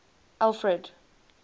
alfred